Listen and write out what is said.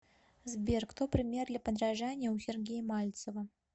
сбер кто пример для подражания у сергея мальцева